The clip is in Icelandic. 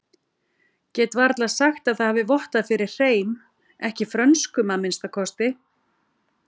Get varla sagt það hafi vottað fyrir hreim, ekki frönskum að minnsta kosti.